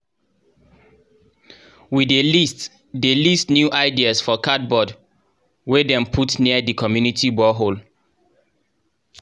we dey list dey list new ideas for cardboard wey dem put near di community borehole